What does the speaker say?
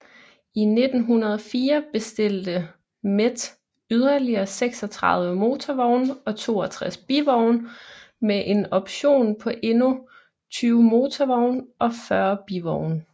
I 1904 bestilte Met yderligere 36 motorvogne og 62 bivogne med en option på endnu 20 motorvogne og 40 bivogne